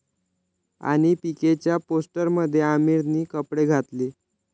...आणि पीकेच्या पोस्टरमध्ये आमिरने कपडे घातले